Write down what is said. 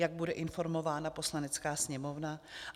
Jak bude informována Poslanecká sněmovna?